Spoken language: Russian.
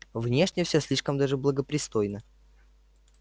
внешне всё слишком даже благопристойно